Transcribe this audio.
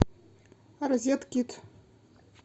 розеткид